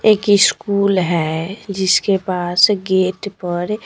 एक इश्कूल है जिसके पास गेट पर--